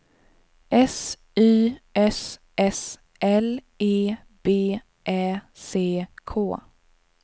S Y S S L E B Ä C K